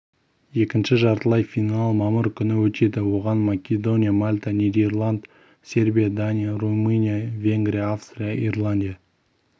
екінші жартылай финал мамыр күні өтеді оған македония мальта нидерланд сербия дания румыния венгрия австрия ирландия